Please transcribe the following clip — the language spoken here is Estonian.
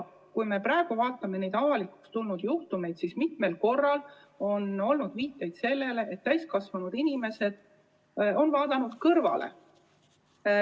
Kui me vaatame neid avalikuks tulnud juhtumeid, siis mitmel korral on viidatud sellele, et täiskasvanud inimesed on n-ö vaadanud kõrvale.